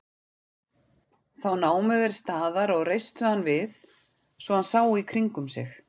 Þá námu þeir staðar og reistu hann við svo hann sá í kringum sig.